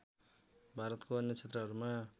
भारतको अन्य क्षेत्रहरूमा